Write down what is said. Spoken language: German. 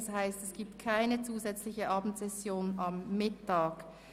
Das heisst, am Mittwoch findet keine zusätzliche Abendsession statt.